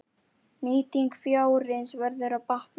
Nýting fjárins verður að batna.